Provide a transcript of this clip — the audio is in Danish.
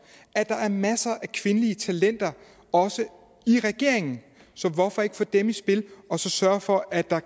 at der er masser af kvindelige talenter også i regeringen så hvorfor ikke få dem i spil og så sørge for at der